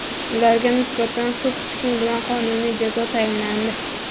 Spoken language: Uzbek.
Ularga nisbatan sud hukmi bilan qonuniy jazo tayinlandi.